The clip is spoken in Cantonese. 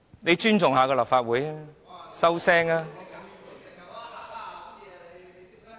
請尊重一下立法會，閉嘴吧。